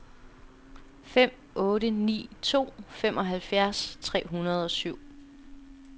fem otte ni to femoghalvfjerds tre hundrede og syv